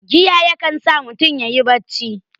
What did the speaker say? Giya ya kan sa mutun yayi ta bacci